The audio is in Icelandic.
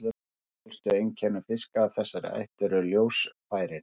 Eitt af helstu einkennum fiska af þessari ætt eru ljósfærin.